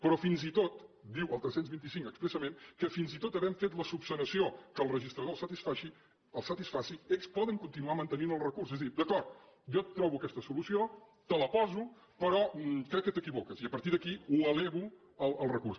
però fins i tot diu el tres cents i vint cinc expressament que fins i tot havent fet l’esmena que al registrador el satisfaci ells poden continuar mantenint el recurs és a dir d’acord jo et trobo aquesta solució te la poso però crec que t’equivoques i a partir d’aquí ho elevo al recurs